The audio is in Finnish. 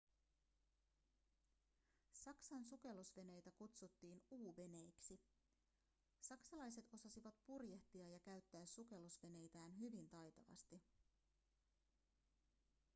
saksan sukellusveneitä kutsuttiin u-veneiksi saksalaiset osasivat purjehtia ja käyttää sukellusveneitään hyvin taitavasti